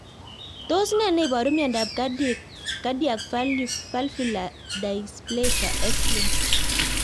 Tos nee neiparu miondop Cardiac valvular dysplasia, X linked?